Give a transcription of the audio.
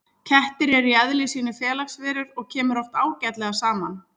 Kettir eru í eðli sínu félagsverur og kemur oft ágætlega saman.